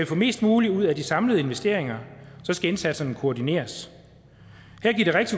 få mest muligt ud af de samlede investeringer skal indsatserne koordineres